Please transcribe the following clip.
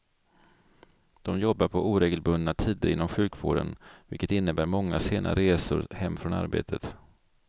De jobbar på oregelbundna tider inom sjukvården, vilket innebär många sena resor hem från arbetet.